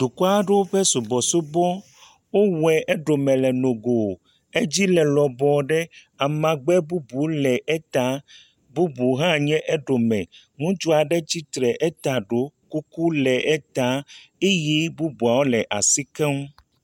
Dukɔ aɖewo ƒe subɔsubɔ. Wowɔe eɖome le nogo. Edzi le lɔbɔ ɖe amagbe bubuwo le eta. Bubu hã nye eɖome. Ŋutsu aɖe tsitre eta ɖo kuku le eta eye bubuawo le asi keŋ.